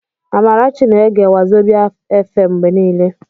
Amarachi na-ege wazobíà fm mgbe niile.